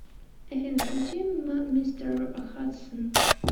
афина включи мистер хадсон